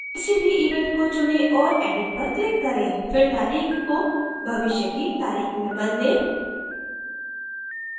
किसी भी event को चुनें और edit पर click करें फिर तारीख को भविष्य की तारीख में बदलें